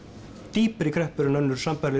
dýpri kreppur en önnur sambærileg